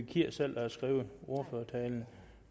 kier selv der har skrevet ordførertalen